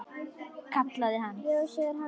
Kallaði hann.